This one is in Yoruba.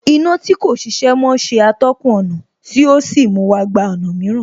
Iná tí kò ṣiṣẹ́ mọ́ ṣe atọ́kùn ọ̀nà tí ò sí mú wa gba ọ̀nà mìíràn